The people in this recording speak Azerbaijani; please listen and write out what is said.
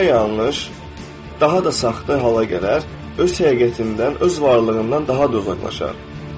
daha da saxta hala gələr, öz həqiqətindən, öz varlığından daha da uzaqlaşar.